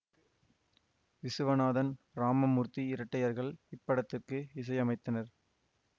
விசுவநாதன் இராமமூர்த்தி இரட்டையர்கள் இப்படத்துக்கு இசையமைத்தனர்